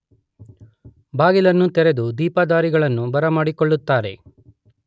ಬಾಗಿಲನ್ನು ತೆರೆದು ದೀಪಧಾರಿಗಳನ್ನು ಬರಮಾಡಿಕೊಳ್ಳುತ್ತಾರೆ.